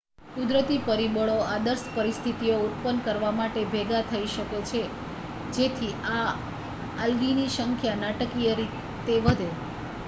કુદરતી પરિબળો આદર્શ પરિસ્થિતિઓ ઉત્પન્ન કરવા માટે ભેગા થઈ શકે છે જેથી આ આલ્ગીની સંખ્યા નાટકીય રીતે વધે